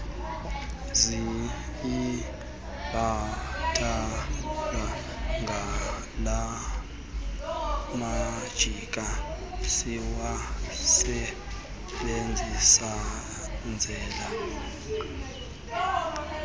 siyibhatalwa ngalamajita siwasebenzelayo